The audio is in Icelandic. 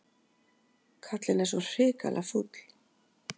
Kallinn er svo hrikalega fúll.